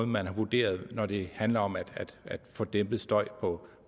man har vurderet når det handler om at få dæmpet støj på